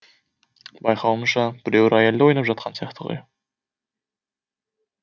байқауымша біреу рояльды ойнап жатқан сияқты ғой